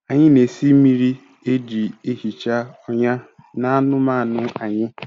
Anyị na-esi mmiri e ji ehicha ọnyá n’anụmanụ anyị.